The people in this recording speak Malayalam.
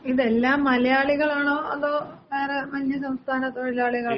ഇതെല്ലാം മലയാളികളാണോ? അതോ വേറെ അന്യസംസ്ഥാന തൊഴിലാളികളാണോ?